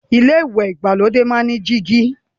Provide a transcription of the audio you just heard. ilé ìwẹ̀ ìgbàlódé máa n ní dígí.